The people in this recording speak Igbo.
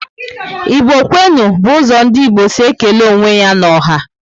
Igbo kwenu! bu ụzọ ndị Igbo si ékélé onwe ya n'ọha